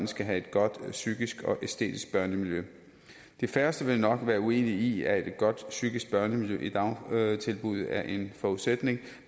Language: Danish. skal have et godt psykisk og æstetisk børnemiljø de færreste vil nok være uenige i at et godt psykisk børnemiljø i dagtilbud er en forudsætning